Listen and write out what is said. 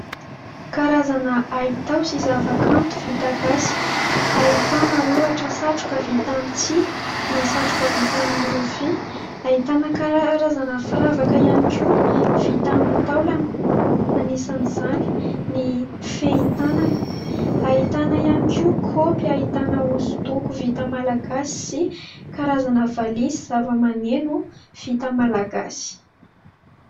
Karazana haitao sy zava-kanto vita gasy ahitana ohatra satroka vita amina satroka vita amin'y rofia, Ahitana karazana firavaka ihany koa vita amin'ny taolana . Anisan'izany ny fehitanana. Ahitana ihany koa kopy ahitana hosodoko vita malagasy sy karazana valizy zava-maneno vita malagasy.